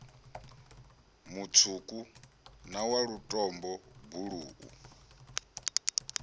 mutswuku na wa lutombo buluu